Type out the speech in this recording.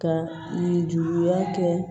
Ka nin juguya kɛ